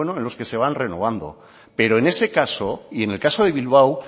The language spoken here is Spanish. en los que se van renovando pero en ese caso y en el caso de bilbao